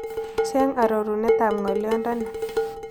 Cheng' arorunetap ng'olyondoni